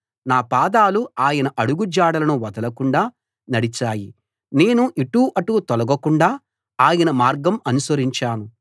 నా పాదాలు ఆయన అడుగు జాడలను వదలకుండా నడిచాయి నేను ఇటు అటు తొలగకుండా ఆయన మార్గం అనుసరించాను